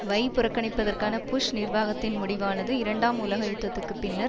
வை புறக்கணிப்பதற்கான புஷ் நிர்வாகத்தின் முடிவானது இரண்டாம் உலக யுத்தத்துக்கு பின்னர்